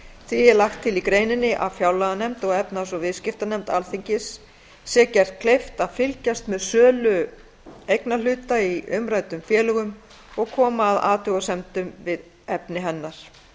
því er lagt til í greininni að fjárlaganefnd og efnahags og viðskiptanefnd alþingis sé gert kleift að fylgjast með sölu eignarhluta í umræddum félögum og koma að athugasemdum við efni hennar